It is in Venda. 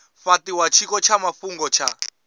fhatiwa tshiko tsha mafhungo tsha